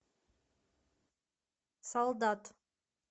солдат